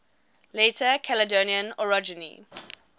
later caledonian orogeny